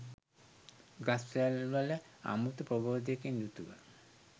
ගස් වැල්වල අමුතු ප්‍රබෝධයකින් යුතුව